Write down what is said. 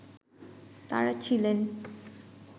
তাঁরা ছিলেন